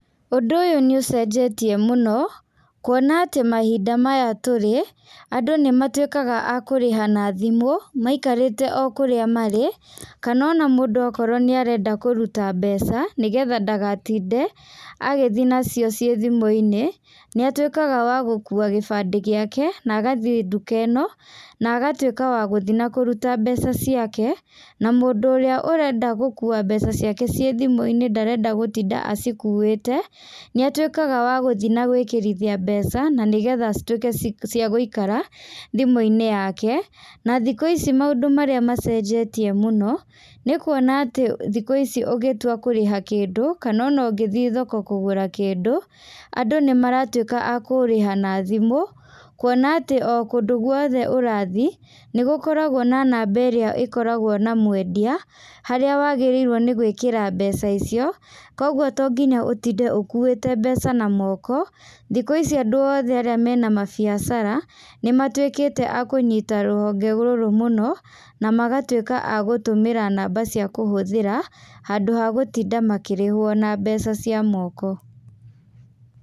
Ũndũ ũyũ nĩ ũcenjetie mũno, kuona atĩ mahinda maya tũrĩ, andũ nĩmatuĩkaga a kũrĩha na thimũ, maikarĩte o kũrĩa marĩ, kana ona mũndũ akorwo nĩarenda kũruta mbeca, nĩgetha ndagatinde agĩthiĩ nacio ciĩ thimũinĩ, nĩatuĩkaga wa gũkua gĩbandĩ gĩake na agathiĩ nduka ĩno, na agatuĩka wa gũthiĩ na kũruta mbeca ciake, na mũndũ ũrĩa ũrenda gũkua mbeca ciake ciĩ thimũinĩ ndarenda gũtinda acikuĩte, nĩatuĩkaga wa gũthiĩ na gwĩkĩrithia mbeca, na nĩgetha cituĩke ciagũikara, thimũini yake, na thikũ ici maũndũ marĩa macenjetie mũno, nĩkuona atĩ thikũ ici ũgĩtua kũrĩha kĩndũ kana ona ũngĩthiĩ thoko kũgũra kindũ, andũ nĩmaratuĩka a kũriha na thimũ, kuona atĩ o kũndũ guothe ũrathiĩ, nĩgũkoragwo na namba ĩrĩa ĩkoragwo na mwendia, harĩa wagĩrĩirwo nĩ gwĩkĩra mbeca icio, koguo tonginya ũtinde ũkuĩte mbeca na moko, thikũ ici andũ othe arĩa mena mabiacara, nĩmatuĩkĩte akũnyita rũhonge rũrũ mũno, namagatuĩka a gũtũmĩra namba ciakũhũthĩra, handũ ha gũtinda makĩrĩhwo na mbeca cia moko.